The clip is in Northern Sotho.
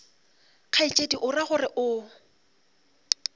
kgaetšedi o ra gore o